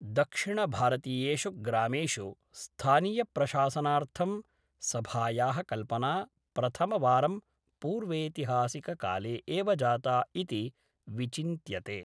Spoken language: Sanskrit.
दक्षिणभारतीयेषु ग्रामेषु स्थानीयप्रशासनार्थं, सभायाः कल्पना प्रथमवारं पूर्वेतिहासककाले एव जाता इति विचिन्त्यते।